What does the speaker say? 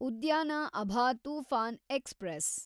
ಉದ್ಯಾನ ಅಭಾ ತೂಫಾನ್ ಎಕ್ಸ್‌ಪ್ರೆಸ್